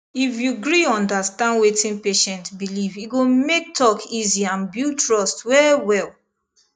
if you gree understand wetin patient believe e go make talk easy and build trust wellwell